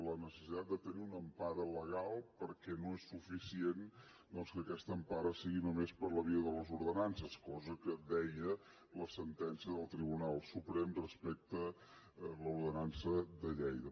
la necessitat de tenir una empara legal perquè no és suficient que aquesta empara sigui només per la via de les ordenances cosa que deia la sentència del tribunal suprem respecte a l’ordenança de lleida